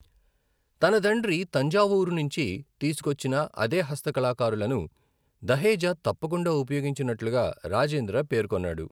తన తండ్రి తంజావూర్ నుంచి తీసుకొచ్చిన అదే హస్త కళాకారులను దహేజా తప్పకుండా ఉపయోగించినట్లుగా రాజేంద్ర పేర్కొన్నాడు.